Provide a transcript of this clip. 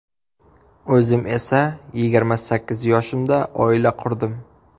O‘zim esa yigirma sakkiz yoshimda oila qurdim.